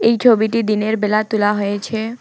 এই ছবিটি দিনের বেলা তোলা হয়েছে।